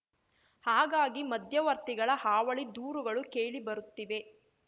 ಹಾಗಾಗಿ ಮಧ್ಯವರ್ತಿಗಳ ಹಾವಳಿ ದೂರುಗಳು ಕೇಳಿ ಬರುತ್ತಿವೆ